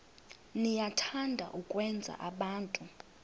niyathanda ukwenza abantu